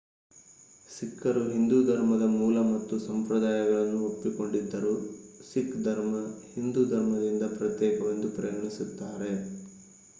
ಸಿಖ್ಖರು ಹಿಂದೂ ಧರ್ಮದ ಮೂಲ ಮತ್ತು ಸಂಪ್ರದಾಯಗಳನ್ನು ಒಪ್ಪಿಕೊಂಡಿದ್ದರೂ ಸಿಖ್ ಧರ್ಮ ಹಿಂದೂ ಧರ್ಮದಿಂದ ಪ್ರತ್ಯೇಕವೆಂದು ಪರಿಗಣಿಸುತ್ತಾರೆ